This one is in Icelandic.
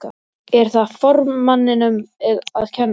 Er það formanninum að kenna?